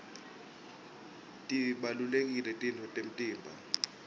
tibalulekile titfo temtimba